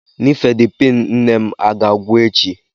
Nifedipin nne m a ga-agwụ echi?